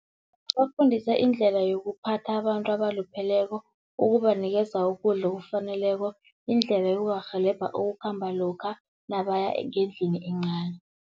Bafundisa indlela yokuphatha abantu abalupheleko, ukubanikeza ukudla okufaneleko, indlela yokubarhelebha ukukhamba lokha nabaya ngendlini encani.